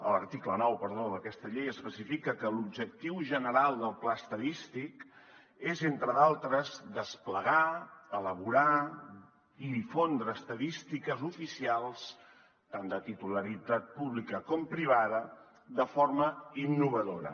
l’article nou perdó d’aquesta llei específica que l’objectiu general del pla estadístic és entre d’altres desplegar elaborar i difondre estadístiques oficials tant de titularitat pública com privada de forma innovadora